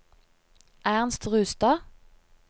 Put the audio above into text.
Ernst Rustad